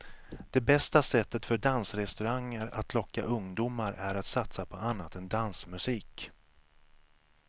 Det bästa sättet för dansrestauranger att locka ungdomar är att satsa på annat än dansmusik.